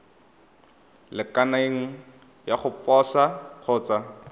lekaneng ya go posa kgotsa